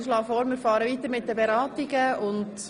Ich schlage vor, dass wir die Beratungen fortsetzen.